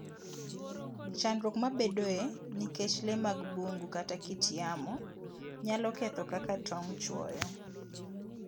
Chandruok mabedoe nikech le mag bungu kata kit yamo, nyalo ketho kaka tong' chwoyo